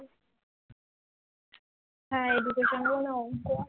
হ্যাঁ education এরই অংক